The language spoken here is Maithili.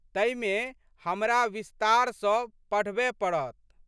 तइमे हमरा विस्तार सँ पढबए पड़त।